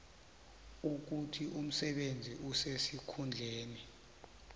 ukuthi umsebenzi osesikhundleni